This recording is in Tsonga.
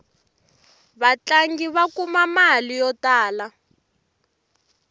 vatlangi va kuma mali yo tala